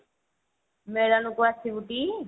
ମେଳନ କୁ ଆସିବୁ ଟି?